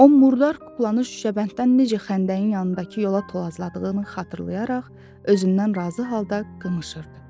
O murdar kuklanı şüşəbənddən necə xəndəyin yanındakı yola tolasladığını xatırlayaraq özündən razı halda qımışırdı.